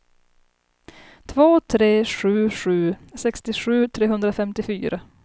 två tre sju sju sextiosju trehundrafemtiofyra